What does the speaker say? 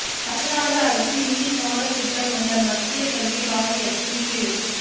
தமிழ்நாடு அரசு இந்தி பாடத் திட்டமுள்ள மத்திய கல்வி வாரியத்தின் கீழ்